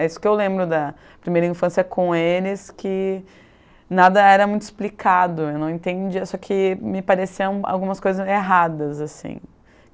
É isso que eu lembro da primeira infância com eles, que nada era muito explicado, eu não entendia, só que me pareciam algumas coisas erradas, assim.